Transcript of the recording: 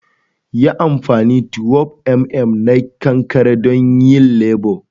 yin anfani 12mm na kankare don yayin lebur